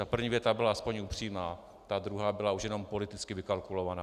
Ta první věta byla aspoň upřímná, ta druhá byla už jenom politicky vykalkulovaná.